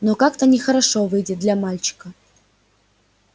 но как-то нехорошо выйдет для мальчика